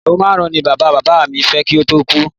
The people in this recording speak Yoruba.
Ìyàwó márùn-ún ni bàbá bàbá mi fẹ́ kí ó tó kú